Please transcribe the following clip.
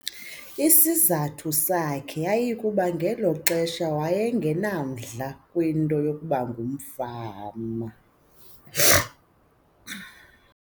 Isizathu sakhe yayikukuba ngelo xesha waye ngenamdla kwinto yokuba ngumfama.